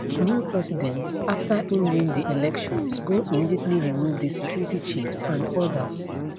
new president afta im win di elections go immediately remove di security chiefs and odas